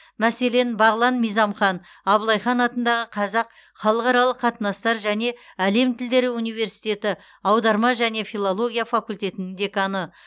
мәселен бағлан мизамхан абылай хан атындағы қазақ халықаралық қатынастар және әлем тілдері университеті аударма және филология факультетінің деканы